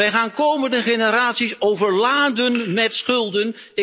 Wij gaan toekomstige generaties overladen met schulden.